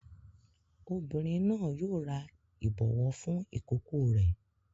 Obìnrin náà yóò ra ìbọwọ́ fún ìkókó rẹ̀.